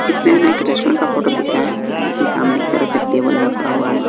इसमें हमे एक रेस्टोरेंट का फोटो दिख रहा है जो कि सामने की तरफ एक टेबल लगा हुआ हैं।